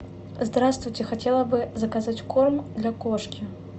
здравствуйте хотела бы заказать корм для кошки